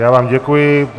Já vám děkuji.